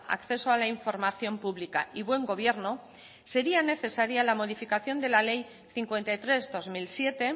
acceso a la información pública y buen gobierno sería necesaria la modificación de la ley cincuenta y tres barra dos mil siete